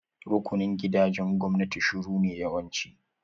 Rukunin gidajen gwamnati shuru ne yawanci.